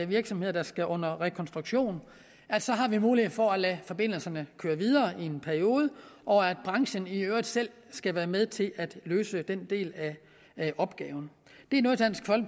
virksomheder skal under rekonstruktion har mulighed for at lade forbindelserne køre videre i en periode og at branchen i øvrigt selv skal være med til at løse den del af opgaven